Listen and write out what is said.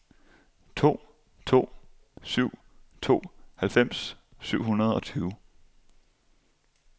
to to syv to halvfems syv hundrede og tyve